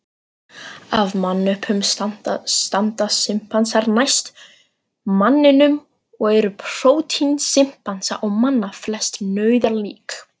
Af mannöpunum standa simpansar næst manninum og eru prótín simpansa og manna flest nauðalík.